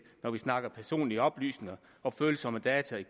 når vi snakker personlige oplysninger og følsomme data